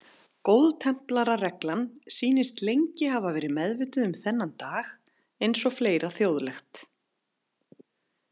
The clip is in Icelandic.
Góðtemplarareglan sýnist lengi hafa verið meðvituð um þennan dag eins og fleira þjóðlegt.